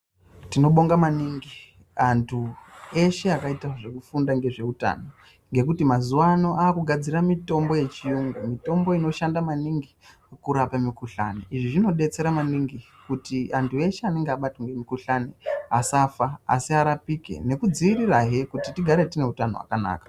Tinobonga maningi antu eshe akaita zvekufunda ngezveutano ngekuti mazuwano akugadzira mitombo yechiyungu, mitombo inoshanda maningi kurape mikhuhlani , izvi zvinodetsera maningi kuti antu eshe anenge akabatwe nemukhuhlani asafa asi arapike nekudziirirahe kuti tigare tine utano hwakanaka.